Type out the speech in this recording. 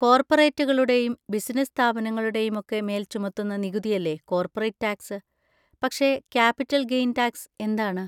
കോർപറേറ്റുകളുടേയും business സ്ഥാപനങ്ങളുടെയും ഒക്കെ മേൽ ചുമത്തുന്ന നികുതിയല്ലേ കോർപ്പറേറ്റ് ടാക്സ്, പക്ഷെ ക്യാപിറ്റൽ ഗെയ്ൻ ടാക്സ് എന്താണ്?